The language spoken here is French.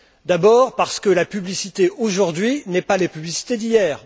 D'abord parce que la publicité d'aujourd'hui n'est pas la publicité d'hier.